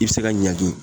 I bɛ se ka ɲangi